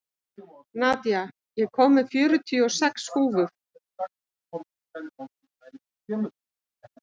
Nadia, ég kom með fjörutíu og sex húfur!